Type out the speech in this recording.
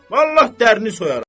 Vallah dərini soyaram.